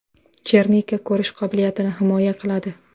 Chernika ko‘rish qobiliyatini himoya qiladi.